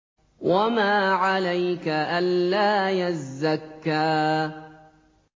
وَمَا عَلَيْكَ أَلَّا يَزَّكَّىٰ